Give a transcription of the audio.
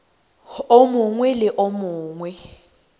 o mongwe le o mongwe